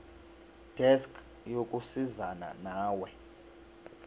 desk yokusizana nawe